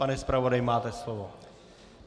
Pane zpravodaji, máte slovo.